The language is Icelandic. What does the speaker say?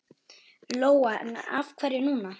Lóa: En af hverju núna?